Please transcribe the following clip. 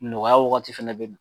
Nɔgɔya wagati fana bɛ na.